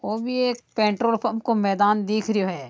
यो भी यह एक पेट्रोल पंप को मैदान दिख रहा है।